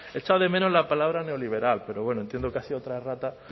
echo de menos la palabra neoliberal pero bueno entiendo que ha sido otra errata